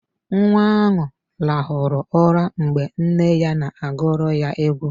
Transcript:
Nwa ahụ rahụrụ ụra mgbe nne ya na agụrụ ya egwu.